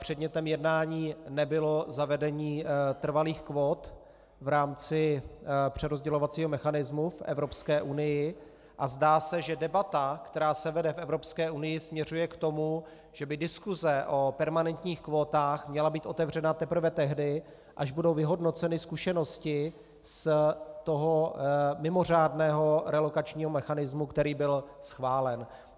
Předmětem jednání nebylo zavedení trvalých kvót v rámci přerozdělovacího mechanismu v Evropské unii a zdá se, že debata, která se vede v Evropské unii, směřuje k tomu, že by diskuse o permanentních kvótách měla být otevřena teprve tehdy, až budou vyhodnoceny zkušenosti z toho mimořádného relokačního mechanismu, který byl schválen.